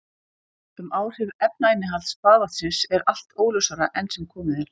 Um áhrif efnainnihalds baðvatnsins er allt óljósara enn sem komið er.